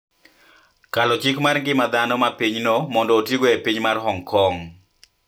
Kalo chik mar ngima dhano ma pinyno mondo otigo e piny mar Hong Kong